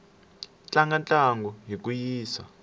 tlanga ntlangu hi ku yisa